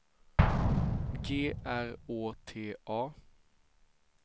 G R Å T A